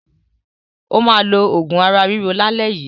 Ó máa lo òògùn ara-ríro lálẹ́ yìí.